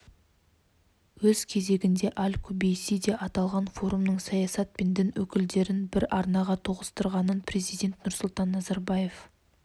өз кезегінде аль-кубейси де аталған форумның саясат пен дін өкілдерін бір арнаға тоғыстырғанын президент нұрсұлтан назарбаев